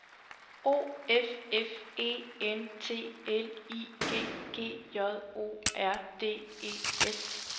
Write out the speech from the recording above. O F F E N T L I G G J O R D E S